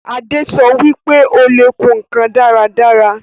Adé sọ wípé Ó le kùn ǹkan dáradára